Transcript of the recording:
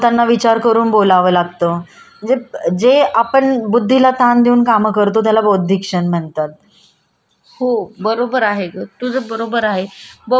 हो बरोबर आहेत तुझं बरोबर बौद्धिक श्रम म्हणजे आपण समोरच्याला काय बोलायचं आणि कोणत्या व काय बोलायचं याचा विचार शो करतो त्याला बौद्धिक श्रम म्हणतो.